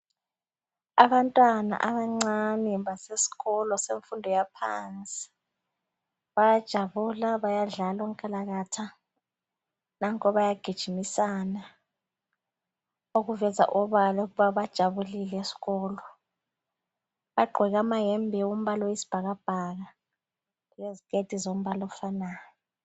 Abantwana abancane basesikolo yemfundo yaphansi bayajabula bayadlala onkalakatha.. Nampa bayagijimisana okuveza obala ukuthi bajabulile esikolo. Bagqoke amayembe ombala owesibhakabhaka leziketi zombala ofanayo.